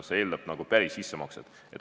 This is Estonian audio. See eeldab nagu päris sissemakset.